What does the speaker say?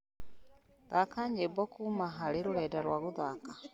thaka nyimbo kuuma hari rũrenda rwa guthaka